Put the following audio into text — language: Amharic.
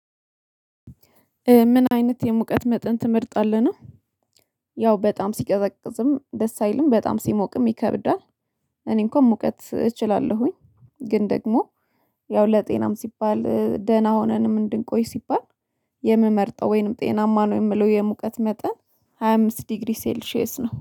ምን አይነት የሙቀት መጠን ትመርጣለህ ነው? ያው በጣም ሲቀዘቅዝም ደስ አይልም በጣም ሲሞቅም ይከብዳል። እኔ እንኳን ሙቀት እችላለሁኝ ግን ደግሞ ያው ለጤናም ሲባል ደህና ሆነንም እንድንቆይ ሲባል። የምመርጠው ወይንም ጤናማ ነው የምለው የሙቀት መጠን ሃያ አምስት ዲግሪ ሴልሺየስ ነው